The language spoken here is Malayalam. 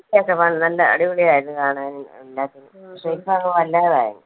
സത്യായിട്ടും വ നല്ല അടിപൊളി ആയിരുന്നു കാണാനും, എല്ലാത്തിനും പക്ഷെ ഇപ്പോ അങ്ങ് വല്ലാതായി